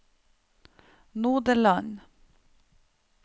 Nodeland